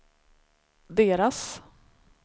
deras